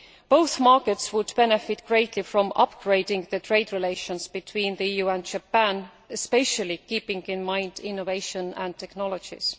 Both markets would benefit greatly from upgrading trade relations between the EU and Japan, especially keeping in mind innovation and technologies.